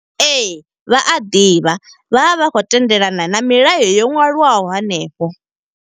Ee, vha a ḓivha vha vha vha khou tendelana na milayo yo nwaliwaho hanefho.